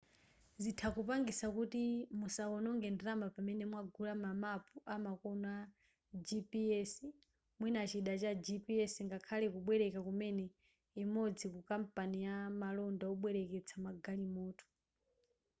zitha kupangisa kuti musaononge ndalama pamene mwagula ma mapu amakono a gps mwina chida cha gps ngakhale kubwereka kumene imodzi ku kampani ya malonda wobwereketsa magalimoto